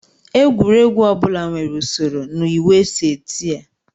Egwuregwu ọ bụla nwere usoro na iwu e si eti ya